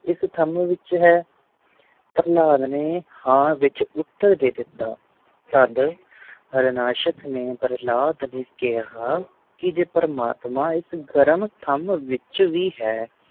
ਇਸ ਥਮ ਵਿਚ ਹੈ ਪ੍ਰਹਲਾਦ ਨੇ ਹਾਂ ਵਿਚ ਉੱਤਰ ਦੇ ਦਿਤਾ ਤਦ ਹਾਰਨਾਸ਼ਕ ਨੇ ਪ੍ਰਹਲਾਦ ਨੂੰ ਕਿਹਾ ਕਿ ਜੇ ਪ੍ਰਮਾਤਮਾ ਇਸ ਗਰਮ ਥਮ ਵਿਚ ਵੀ ਹੈ